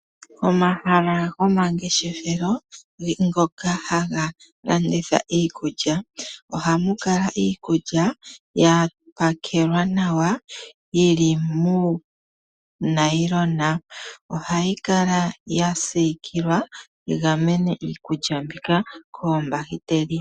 Omahala gomangeshefelo mgoka haga landitha iikulya, ohamu kala iikulya ya pakelwa nawa yi li muunayilona. Ohayi kala ya siikilwa yi gamene iikulya mbika koombahiteli.